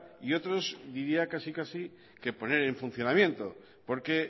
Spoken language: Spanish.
y otros diría que casi casi que poner en funcionamiento porque